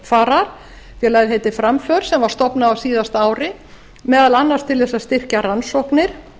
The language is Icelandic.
framfarar félagið heitir framför sem var stofnað á síðasta ári meðal annars til eins að styrkja rannsóknir